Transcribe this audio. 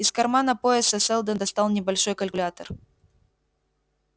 из кармана пояса сэлдон достал небольшой калькулятор